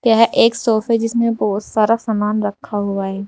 यह एक सोप है जिसमें बहुत सारा सामान रखा हुआ है।